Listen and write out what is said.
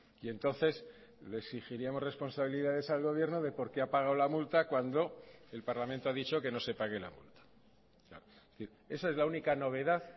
y entonces le exigiríamos responsabilidades al gobierno de por qué ha pagado la multa cuando el parlamento ha dicho que no se pague la multa es decir esa es la única novedad